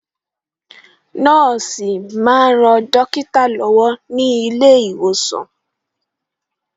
Nọ́ọ̀sì máa ń ran dókítà lọ́wọ́ ní ilé ìwòsàn.